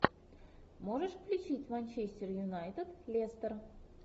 можешь включить манчестер юнайтед лестер